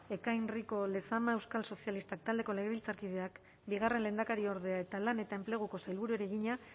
ekain rico lezama euskal sozialistak taldeko legebiltzarkideak bigarren lehendakariorde eta lan eta enpleguko sailburuari egina